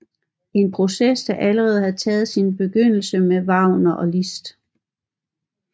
En proces der allerede havde taget sin begyndelse med Wagner og Liszt